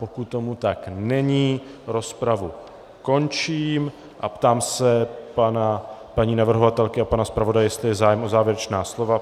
Pokud tomu tak není, rozpravu končím a ptám se paní navrhovatelky a pana zpravodaje, jestli je zájem o závěrečná slova.